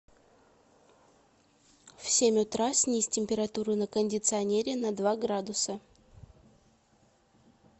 в семь утра снизь температуру на кондиционере на два градуса